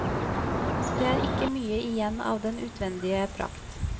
Det er ikke mye igjen av den utvendige prakt.